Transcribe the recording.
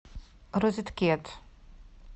розеткед